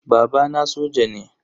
Babana soja ne.